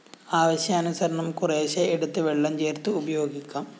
ആവശ്യാനുസരണം കുറേശ്ശെ എടുത്ത് വെള്ളം ചേര്‍ത്ത് ഉപയോഗിക്കാം